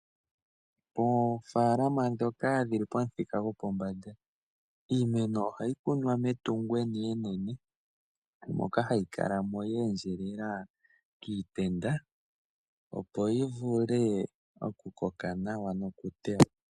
Oofaalama dhoka dhili pamuthika gwopombanda, iimeno ohayi kunwa metungo enene moka hayi kala mo ya endjelela kiitenda, opo yi vule okukoka nawa noku tewa.